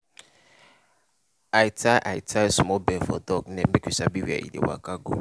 i tie i tie small bell for dog neck make we sabi where e dey waka go.